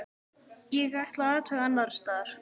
Ég ætla að athuga annars staðar.